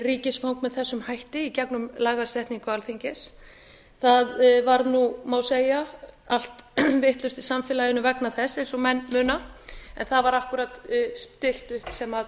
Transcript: ríkisfang með þessum hætti í gegnum lagasetningu alþingis það varð nú má segja allt vitlaust í samfélaginu vegna þess eins og menn muna en það var akkúrat stillt upp sem